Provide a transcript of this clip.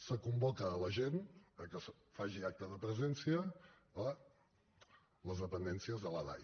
se convoca l’agent que faci acte de presència a les dependències de la dai